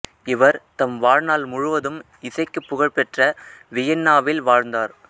இவர் தம் வாழ்நாள் முழுவதும் இசைக்குப் பகழ்பெற்ற வியன்னாவில் வாழ்ந்தார்